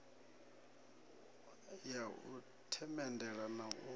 ya u themendela na u